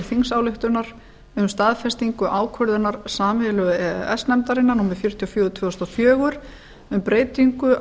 þingsályktunar um staðfestingu ákvörðunar sameiginlegu e e s nefndarinnar númer fjörutíu og fjögur tvö þúsund og fjögur um breytingu